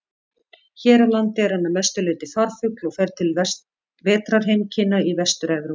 Hér á landi er hann að mestu leyti farfugl og fer til vetrarheimkynna í Vestur-Evrópu.